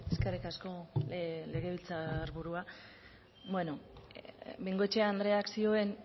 eskerrik asko legebiltzarburua bueno bengoechea andreak zioen